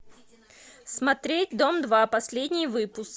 смотреть дом два последний выпуск